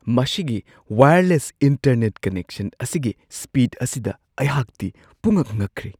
ꯃꯁꯤꯒꯤ wireless internet connection ꯑꯁꯤꯒꯤ speed ꯑꯁꯤꯗ ꯑꯩꯍꯥꯛꯇꯤ ꯄꯨꯛꯉꯛ ꯉꯛꯈ꯭ꯔꯦ ꯫